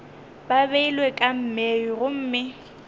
ba beilwe ka mei gomme